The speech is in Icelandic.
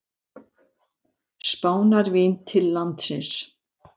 Spánarvín til landsins.